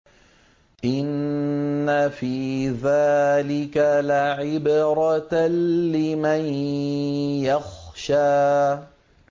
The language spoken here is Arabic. إِنَّ فِي ذَٰلِكَ لَعِبْرَةً لِّمَن يَخْشَىٰ